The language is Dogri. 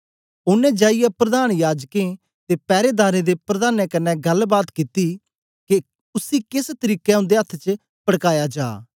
ओनें जाईयै प्रधान याजकें ते पैरेदारें दे प्रधानें कन्ने गल्लबात कित्ती के उसी केस तरीके उन्दे अथ्थ च पड़काया जा